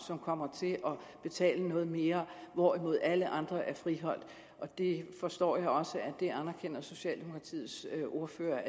som kommer til at betale mere hvorimod alle andre er friholdt det forstår jeg også at socialdemokratiets ordfører